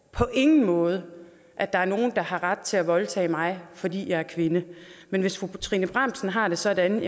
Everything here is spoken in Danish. på ingen måde at der er nogen der har ret til at voldtage mig fordi jeg er kvinde men hvis fru trine bramsen har det sådan